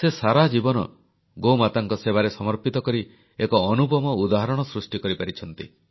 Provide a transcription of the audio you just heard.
ସେ ସାରାଜୀବନ ଗୋମାତାଙ୍କ ସେବାରେ ସମର୍ପିତ କରି ଏକ ଅନୁପମ ଉଦାହରଣ ସୃଷ୍ଟି କରିପାରିଛନ୍ତି